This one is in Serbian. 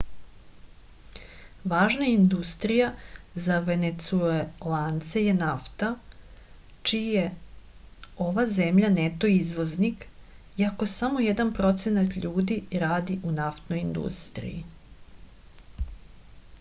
važna industrija za venecuelance je nafta čiji je ova zemlja neto izvoznik iako samo jedan procenat ljudi radi u naftnoj industriji